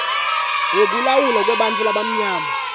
wekulawulwa kwebantfu labamnyama